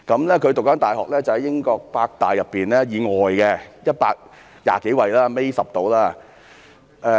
他就讀的大學在英國是百大以外，排名120幾位，大約倒數第十。